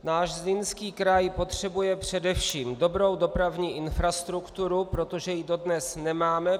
Náš Zlínský kraj potřebuje především dobrou dopravní infrastrukturu, protože ji dodnes nemáme.